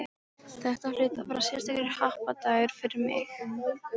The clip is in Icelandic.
Þetta hlaut að vera sérstakur happadagur fyrir mig.